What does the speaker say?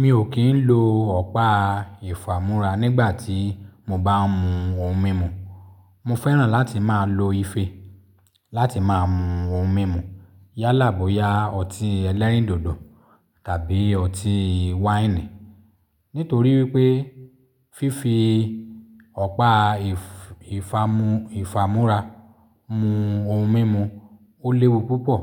Mi ò kín ń lo ọ̀pá ìfamúra nígbàtí mo bá ń mu ohun mímu. Mo fẹ́ràn láti máa lo ife láti máa mu ohun mímu yálà bóya ọtí ẹlẹ́rìndòdò tàbí ọtí wáìnì. Nítorí wípé fífi ọ̀pá ìfamúra mu ohun mímu ó léwu púpọ̀